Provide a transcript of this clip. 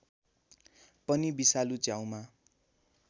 पनि विषालु च्याउमा